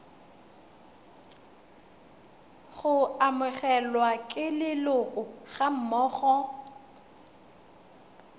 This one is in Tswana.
go amogelwa ke leloko gammogo